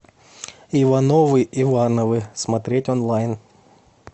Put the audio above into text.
ивановы ивановы смотреть онлайн